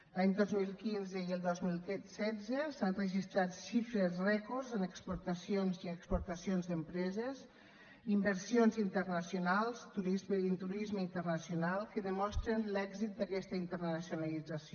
l’any dos mil quinze i el dos mil setze s’han registrat xifres rècords en exportacions i en exportacions d’empreses inversions internacionals turisme i turisme internacional que demostren l’èxit d’aquesta internacionalització